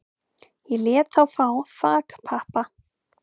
Ég lét þá fá þakpappa